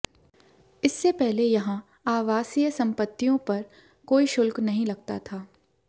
इससे पहले यहां आवासीय संपत्तियों पर कोई शुल्क नहीं लगता था